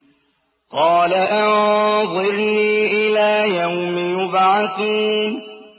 قَالَ أَنظِرْنِي إِلَىٰ يَوْمِ يُبْعَثُونَ